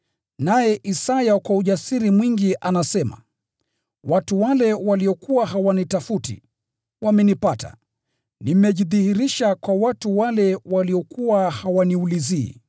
Naye Isaya kwa ujasiri mwingi anasema, “Nimeonekana na watu wale ambao hawakunitafuta. Nilijifunua kwa watu wale ambao hawakunitafuta.”